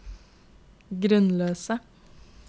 grunnløse